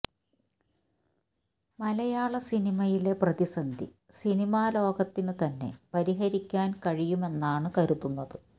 മലയാള സിനിമയിലെ പ്രതിസന്ധി സിനിമാ ലോകത്തിന് തന്നെ പരിഹരിക്കാന് കഴിയുമെന്നാണ് കരുതുന്നത്